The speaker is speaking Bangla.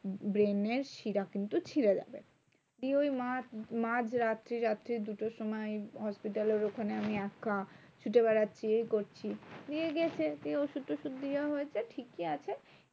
Brain এর শিরা কিন্তু ছিড়ে যাবে। দিয়ে ওই মাঝ মাঝ রাত্রি, রাত্রি দুটোর সময় hospital এর ওখানে আমি একা ছুটে বেড়াচ্ছি এ করছি। দিয়ে গেছে দিয়ে ওষুধ টষুধ দেওয়া হয়েছে ঠিকই আছে